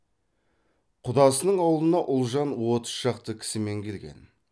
құдасының аулына ұлжан отыз шақты кісімен келген